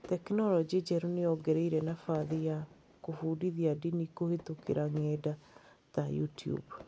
Tekinoronjĩ njerũ nĩ yongereire nabathi ya kũbundithia ndini kũhĩtũkĩra ng’enda ta YouTube.